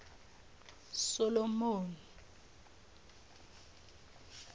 solomoni